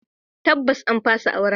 Tabbas an fasa aurenta.